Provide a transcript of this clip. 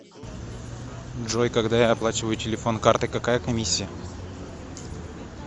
джой когда я оплачиваю телефон картой какая комиссия